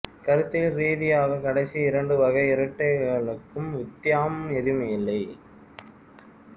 கருத்தியல் ரீதியாக கடைசி இரண்டு வகை இரட்டைகளுக்கும் வித்தியாம் ஏதுமில்லை